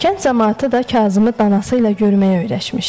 Kənd camaatı da Kazımı danası ilə görməyə öyrəşmişdi.